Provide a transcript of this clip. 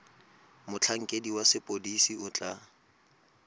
motlhankedi wa sepodisi o tla